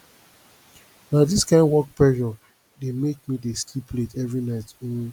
na dis kain work pressure dey make me dey sleep late every night um